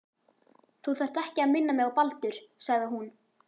Þú þarft ekki að minna mig á Baldur sagði hún.